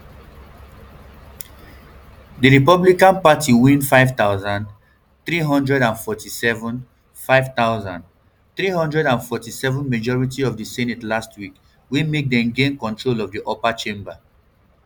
di republican party win five thousand, three hundred and forty-seven five thousand, three hundred and forty-seven majority for di senate last week wey make dem gain control of di upper chamber